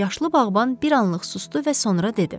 Yaşlı bağban bir anlıq susdu və sonra dedi: